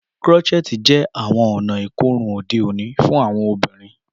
Crotchet jẹ awọn ọna ikorun ode oni fun awọn ọbinrin.